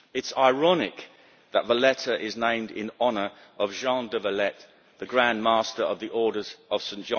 It is ironic that Valletta is named in honour of Jean de Valette, the Grand Master of the Order of St.